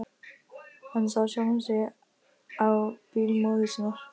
Hann sá sjálfan sig á bíl móður sinnar.